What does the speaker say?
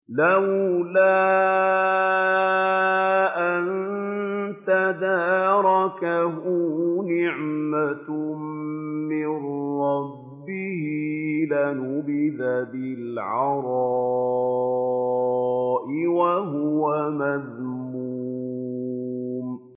لَّوْلَا أَن تَدَارَكَهُ نِعْمَةٌ مِّن رَّبِّهِ لَنُبِذَ بِالْعَرَاءِ وَهُوَ مَذْمُومٌ